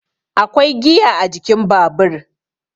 akwai giya a jikin Babur